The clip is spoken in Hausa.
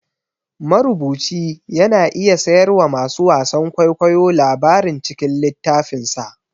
Marubuci yana iya siyarwa masu wasan kwaikwayo labarin cikin littafinsa